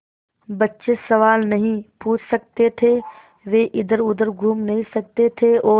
बच्चे सवाल नहीं पूछ सकते थे वे इधरउधर घूम नहीं सकते थे और